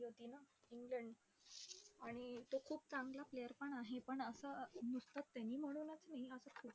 England, आणि तो खूप चांगला player पण आहे पण असं, नुसतं त्यांनी म्हणूनचं नाही